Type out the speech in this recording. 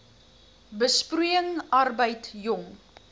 besproeiing arbeid jong